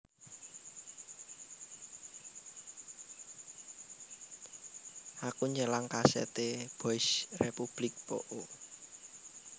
Aku nyelang kaset e Boys Republic po o